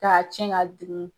K'a cɛn k'a